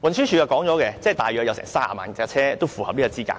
運輸署曾經表示，大約有30萬輛車符合資格，